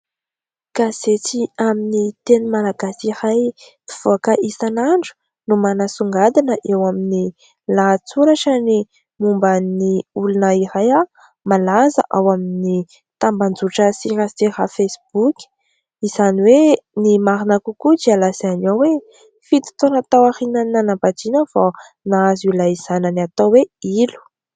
Gazety amin'ny teny malagasy iray mpivoaka isanandro no manasongadina eo amin'ny lahatsoratra ny momban'ny olona iray malaza ao amin'ny tambazotra an-tserasera"fesiboky", izany hoe ny marina kokoa dia lazainy hoe fito taona tao aorian'ny nanambadiana vao nahazo ilay zanany atao hoe"Ilo".